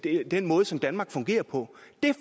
ind i den måde som danmark fungerer på